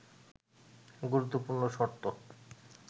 গুরুত্বপূর্ণ শর্ত